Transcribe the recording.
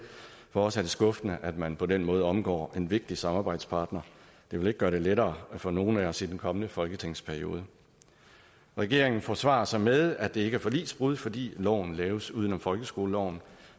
fortsat er skuffende at man på den måde omgår en vigtig samarbejdspartner det vil ikke gøre det lettere for nogen af os i den kommende folketingsperiode regeringen forsvarer sig med at det ikke er forligsbrud fordi loven laves uden om folkeskoleloven